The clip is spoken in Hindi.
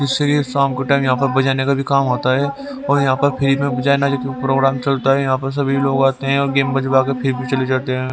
जिससे कि शाम के टाइम यहां पर बजाने का भी काम होता है और यहां पर फ्री में बजाना प्रोग्राम चलता है यहां पर सभी लोग आते हैं और गेम बजवा के फ्री में चले जाते हैं।